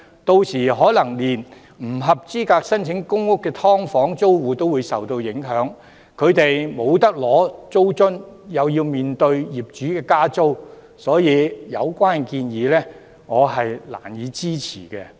屆時，可能連不合資格申請公屋的"劏房"租戶也會受影響，他們不合資格獲發租津，更要面對業主加租，所以我難以支持有關的建議。